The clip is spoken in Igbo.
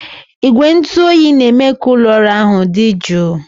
Igwe ntụ oyi na-eme ka ụlọ ọrụ ahụ dị jụụ